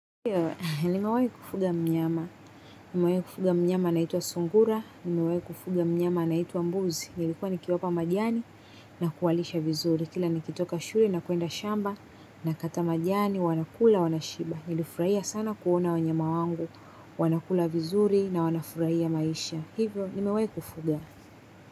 Ndio, nimewahi kufuga mnyama nimewahi kufuga mnyama naitwa sungura, nimewahi kufuga mnyama anaitwa mbuzi nilikuwa nilikuwa nikiwapa majani na kuwalisha vizuri. Kila nikitoka shule na kwenda shamba na kata majani wanakula, wanashiba. Nilifurahia sana kuona wanyama wangu, wanakula vizuri na wanafurahia maisha. Hivyo, nimewahi kufuga.